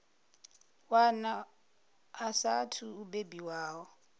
wana a saathu u bebiwaho